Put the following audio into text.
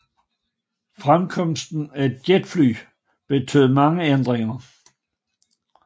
Fremkomsten af jetfly betød mange ændringer